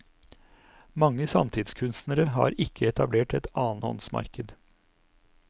Mange samtidskunstnere har ikke etablert et annenhåndsmarked.